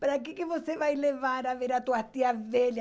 Para que que você vai levar a ver as tuas tias velhas?